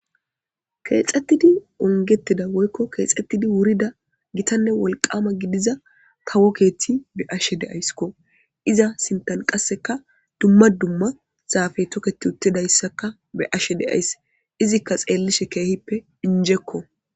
Keexettidi ongettida woykko keexettidi wurida gitanne wolqaama gidiza kawo keethi be'ashe de'ayskko iza sintan qasseka dumma dumma zaafey toketti uttidayssaka be'ashe de'ays izikka xeellishe keehippe injekko.